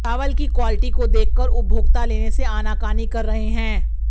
चावल की क्वालिटी को देखकर उपभोक्ता लेने से आनाकानी कर रहे हैं